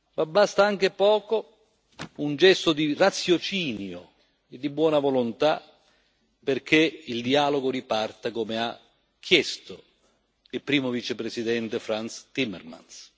ma basta anche poco un gesto di raziocinio e di buona volontà perché il dialogo riparta, come ha chiesto il primo vicepresidente Frans Timmermans.